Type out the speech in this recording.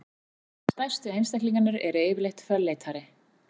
Stærstu einstaklingarnir eru yfirleitt fölleitari.